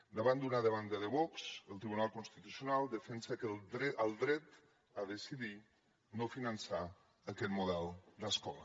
davant d’una demanda de vox el tribunal constitucional defensa el dret a decidir no finançar aquest model d’escola